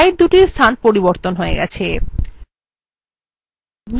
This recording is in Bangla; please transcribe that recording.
slidesদুটির স্থান পরিবর্তন হয়ে গেছে